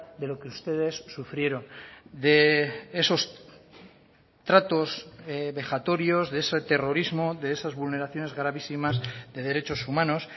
de lo que ustedes sufrieron de esos tratos vejatorios de ese terrorismo de esas vulneraciones gravísimas de derechos humanos